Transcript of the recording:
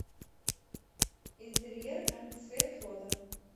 интерьер энд свет фото